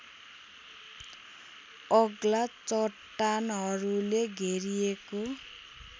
अग्ला चट्टानहरूले घेरिएको